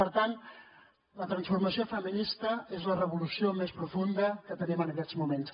per tant la transformació feminista és la revolució més profunda que tenim en aquests moments